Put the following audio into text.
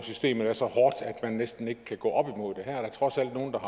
systemet er så hårdt at man næsten ikke kan gå op imod er der trods alt nogle der